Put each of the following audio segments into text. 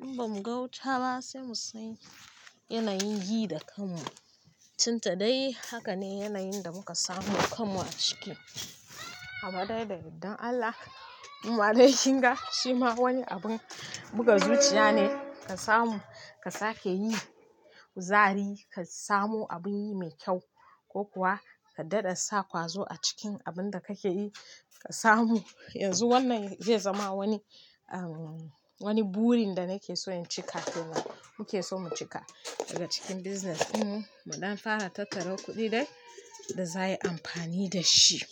In ba mu gauta ba sai mu sani yanayin yi da kamu. Tunda dai haka ne yanayin da muka samu kamu a ciki. Amma dai da yardar Allah, kuma dai shinga shi ma wani abun buga zuciya ne ka samu ka sake yi, kuzari ka samu abin yi mai kyau ko kuwa ka dada sa ƙwazo a cikin abun da kake yi ka samu. Yanzu wannan zai zama wani, umm, wani burin da nake so in cika ko kuwa muke so mu cika daga cikin business in muɗan fara tattaro kuɗi dai da za a yi amfani da shi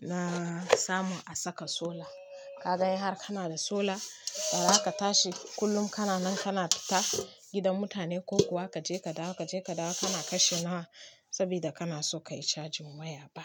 na samu a saka solar. Ka dai har kana da solar, gara ka tashi kullum kana nan kana fita gidan mutane ko kuwa kaje ka dawo kaje ka dawo kana kashe nawa sabida kana so ka yi cajin waya ba.